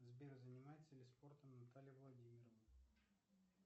сбер занимается ли спортом наталья владимировна